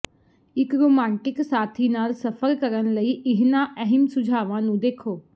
ਇੱਕ ਰੋਮਾਂਟਿਕ ਸਾਥੀ ਨਾਲ ਸਫ਼ਰ ਕਰਨ ਲਈ ਇਹਨਾਂ ਅਹਿਮ ਸੁਝਾਵਾਂ ਨੂੰ ਦੇਖੋ